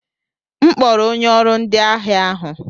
M kpọrọ onye ọrụ ndi ahịa ahụ.